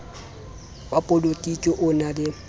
wa polotiki o na le